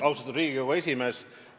Austatud Riigikogu esimees!